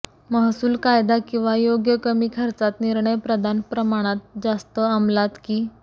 महसूल कायदा किंवा योग्य कमी खर्चात निर्णय प्रदान प्रमाणात जास्त अंमलात की